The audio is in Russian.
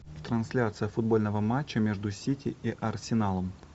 трансляция футбольного матча между сити и арсеналом